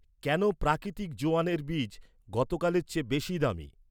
কেন প্রাকৃতিক জোয়ানের বিজ, গতকালের চেয়ে বেশি দামী?